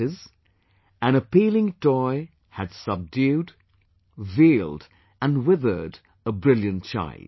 That is, an appealing toy had subdued, veiled and withered a brilliant child